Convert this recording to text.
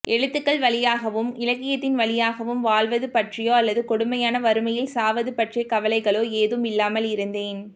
எழுத்துக்கள் வழியாகவும் இலக்கியத்தின் வழியாகவும் வாழ்வது பற்றியோ அல்லது கொடுமையான வறுமையில் சாவது பற்றிய கவலைகளோ ஏதும் இல்லாமல் இருந்தேன்